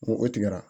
Ni o tigɛra